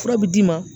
Fura bi d'i ma